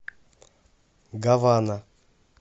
гавана